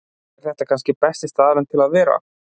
Er þetta kannski besti staðurinn til að vera?